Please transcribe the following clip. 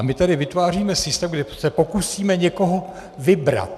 A my tady vytváříme systém, kde se pokusíme někoho vybrat.